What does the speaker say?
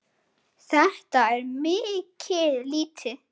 Þetta er mikið lýti.